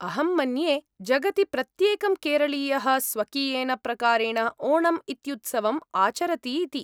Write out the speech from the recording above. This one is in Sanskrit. अहं मन्ये, जगति प्रत्येकं केरळीयः स्वकीयेन प्रकारेण ओणम् इत्युत्सवम् आचरति इति।